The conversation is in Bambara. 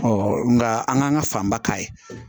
nka an k'an ka fanba k'a ye